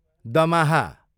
दमाहा